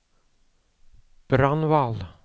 Brandval